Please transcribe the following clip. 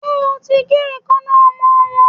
Ṣé o ti gé eekańná ọmọ wọ́n.